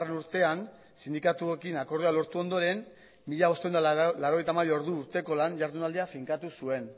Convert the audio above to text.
urtean sindikatuekin akordioa lortu ondoren mila bostehun eta laurogeita hamabi ordu urteko lan ihardunaldia finkatu zuen